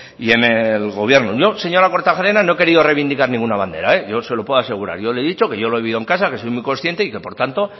y en el gobierno yo señora kortajarena no he querido reivindicar ninguna bandera yo se lo puedo asegurar yo le he dicho que yo lo he vivido en casa que soy muy consciente y que por tanto